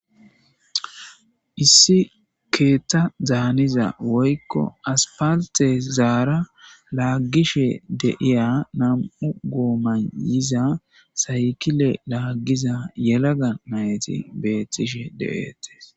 issi keethada haniza woykko asipalitezara laaggishe de'ia nam'u goomayiza saykile laaggiza yelaga nayti beettishe de,'ettees